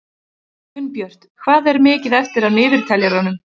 Gunnbjört, hvað er mikið eftir af niðurteljaranum?